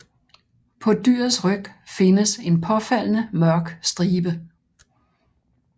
På dyrets ryg findes en påfaldende mørk stribe